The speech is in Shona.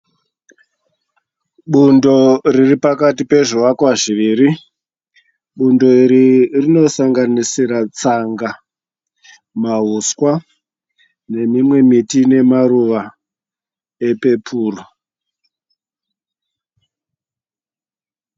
Bundo riri pakati pezvivakwa zviviri. Bundo iri rinosanganisira tsanga, mahuswa nemimwe miti ine maruva epepuru.